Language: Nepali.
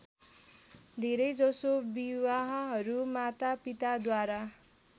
धेरैजसो विवाहहरू मातापिताद्वारा